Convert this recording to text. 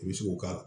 I bɛ se k'o k'a la